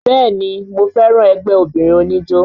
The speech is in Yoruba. Bẹ́ẹ̀ni mo fẹ́ràn ẹgbẹ́ obìnrin oníjó